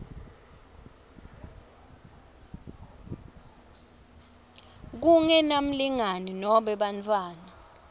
kungenamlingani nobe bantfwana